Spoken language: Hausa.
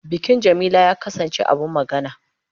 Bikin Jamila ya kasance abin magana.